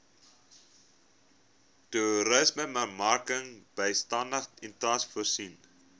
toerismebemarkingbystandskema itmas voorsien